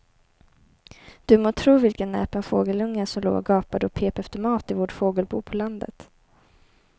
Du må tro vilken näpen fågelunge som låg och gapade och pep efter mat i vårt fågelbo på landet.